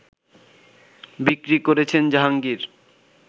বিক্রি করেছেন জাহাংগীর